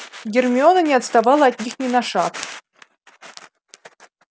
гермиона не отставала от них ни на шаг